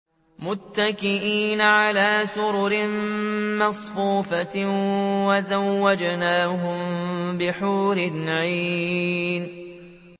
مُتَّكِئِينَ عَلَىٰ سُرُرٍ مَّصْفُوفَةٍ ۖ وَزَوَّجْنَاهُم بِحُورٍ عِينٍ